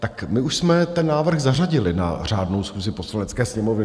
Tak my už jsme ten návrh zařadili na řádnou schůzi Poslanecké sněmovny.